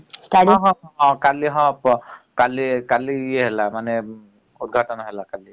କାଲି ହବ କାଲି ହବ କାଲି କାଲି ଇଏ ହେଲା ମାନେ ଉଦଘାଟନ ହେଲା କାଲି ।